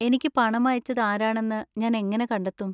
എനിക്ക് പണം അയച്ചത് ആരാണെന്ന് ഞാൻ എങ്ങനെ കണ്ടെത്തും?